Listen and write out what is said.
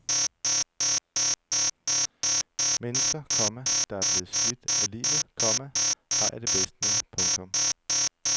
Mennesker, komma der er blevet slidt af livet, komma har jeg det bedst med. punktum